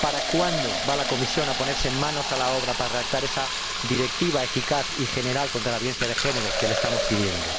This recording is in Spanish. ¿Cuándo va la Comisión a ponerse manos a la obra para redactar esa directiva eficaz y general contra la violencia de género que le estamos pidiendo?